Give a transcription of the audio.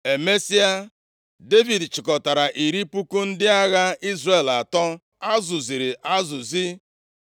Emesịa, Devid chịkọtara iri puku ndị agha Izrel atọ a zụziri azụzi,